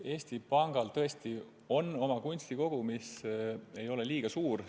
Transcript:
Eesti Pangal tõesti on oma kunstikogu, mis ei ole suur.